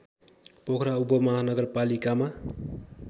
Pokhara उपमहानगरपालिकामा